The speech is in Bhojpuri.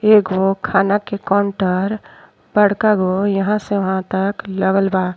एगो खाना के काउंटर बड़का गो। यहाँ से वहाँ तक लेबल बा।